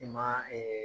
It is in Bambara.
I ma